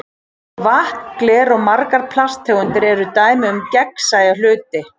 Vatn, gler og margar plasttegundir eru dæmi um gegnsæja hluti.